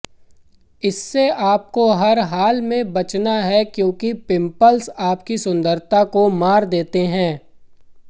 इससे आपको हर हाल में बचना है क्योंकि पिंपल्स आपकी सुंदरता को मार देते है